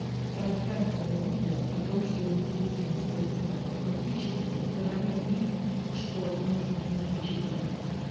рассказывай людям о том что им действительно стоит заказать фактически говоря им что нужно им включить в заказ